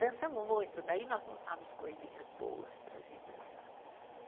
Dançamos muito, daí nós montávamos coisinhas boas para a gente dançar.